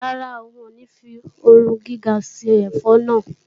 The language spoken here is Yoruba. Rárá, ń ò ní fi ooru gíga ṣe ẹ̀fọ́ náà.